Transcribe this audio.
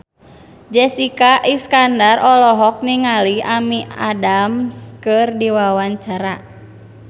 Jessica Iskandar olohok ningali Amy Adams keur diwawancara